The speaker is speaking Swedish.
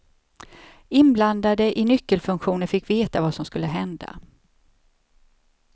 Inblandade i nyckelfunktioner fick veta vad som skulle hända.